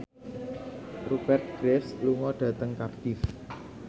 Rupert Graves lunga dhateng Cardiff